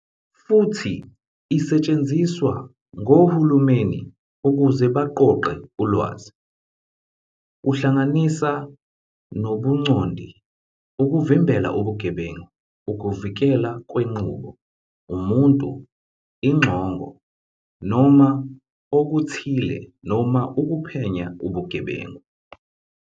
Futhi isetshenziswa ngohulumeni ukuze baqoqe ulwazi - kuhlanganisa nobuncondi, ukuvimbela ubugebengu, ukuvikelwa kwenqubo, umuntu, ixongo noma okuthile, noma ukuphenya ubugebengu.